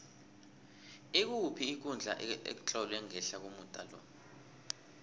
ikuphi ikundla etlolwe ngehla komuda lo